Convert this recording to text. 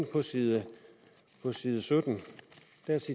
på side side sytten